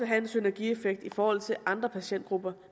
have en synergieffekt i forhold til andre patientgrupper